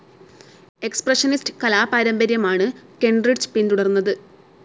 Expressionist കലാ പാരമ്പര്യമാണ് Kentridge പിന്തുടർന്നത്.